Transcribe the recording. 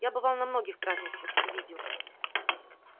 я бывал на многих празднествах и видел